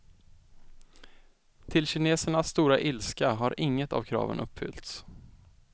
Till kinesernas stora ilska har inget av kraven uppfyllts.